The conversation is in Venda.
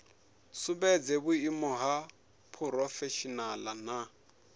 sumbedze vhuimo ha phurofeshinala na